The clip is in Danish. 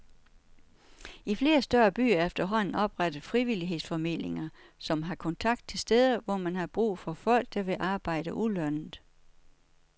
I flere større byer er der efterhånden oprettet frivillighedsformidlinger som har kontakt til steder, hvor man har brug for folk, der vil arbejde ulønnet.